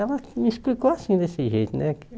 Ela me explicou assim, desse jeito, né?